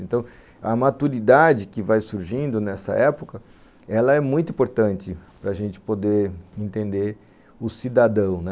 Então, a maturidade que vai surgindo nessa época, ela é muito importante para a gente poder entender o cidadão.